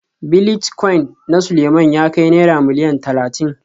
Bilitcoin na Suleiman ya kai Naira Miliyan Talatin